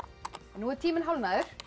nú er tíminn hálfnaður